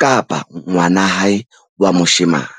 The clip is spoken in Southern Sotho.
kapa ngwana hae wa moshemane.